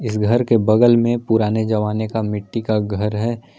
इस घर के बगल में पुराने जवाने का मिट्टी का घर है।